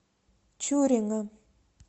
чурина